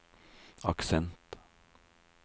aksent